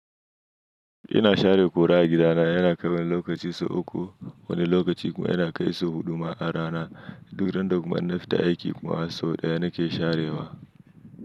Ina share kura a gidana yana kai wani lokaci sau uku. Wani lokaci kuma yana kai sau huɗu ma a rana. Duk da randda kuma in na fita aiki kuma sau ɗaya na ke sharewa.